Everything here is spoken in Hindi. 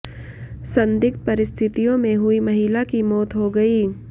संदिग्ध परिस्थितियों में हुई महिला की मौत हो गई